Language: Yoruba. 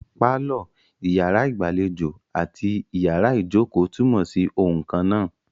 Pálọ̀, iyàrá ìgbàlejò àti iyàrá ìjókò túnmọ̀ sí oun kannáà.